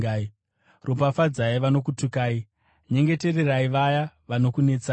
ropafadzai vanokutukai, nyengetererai vaya vanokunetsai.